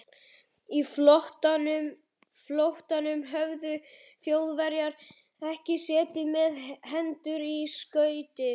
Á flóttanum höfðu Þjóðverjarnir ekki setið með hendur í skauti.